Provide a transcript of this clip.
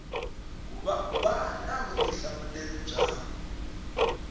va na vutihlamuleri bya ku